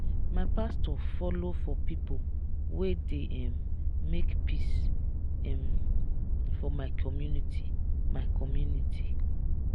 my pastor folo for pipo wey dey um make peace um for my community. my community.